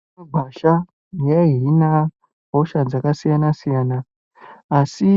Mitombo yemumagwasha yaihina hosha dzakasiyana-siyana. Asi